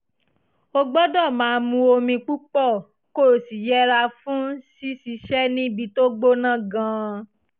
o gbọ́dọ̀ máa mu omi púpọ̀ kó o sì yẹra fún ṣíṣiṣẹ́ níbi tó gbóná gan-an